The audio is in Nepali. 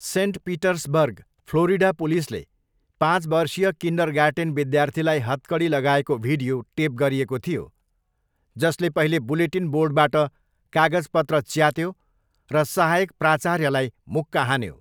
सेन्ट पिटर्सबर्ग, फ्लोरिडा पुलिसले पाँच वर्षीय किन्डरगार्टेन विद्यार्थीलाई हतकडी लगाएको भिडियो टेप गरिएको थियो जसले पहिले बुलेटिन बोर्डबाट कागजपत्र च्यात्यो र सहायक प्राचार्यलाई मुक्का हान्यो।